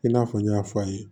I n'a fɔ n y'a fɔ a ye